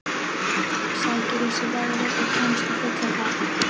Sækir í sig veðrið og kemst á fulla ferð.